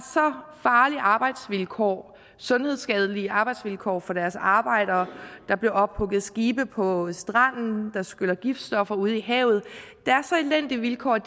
farlige arbejdsvilkår sundhedsskadelige arbejdsvilkår for deres arbejdere der bliver ophugget skibe på stranden der skyller giftstoffer ud i havet der er så elendige vilkår at